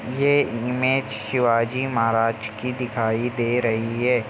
ये इमेज शिवाजी महाराज की दिखाई दे रही है ।